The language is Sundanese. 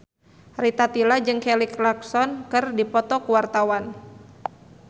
Rita Tila jeung Kelly Clarkson keur dipoto ku wartawan